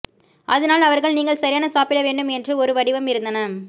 அதனால் அவர்கள் நீங்கள் சரியான சாப்பிட வேண்டும் என்று ஒரு வடிவம் இருந்தன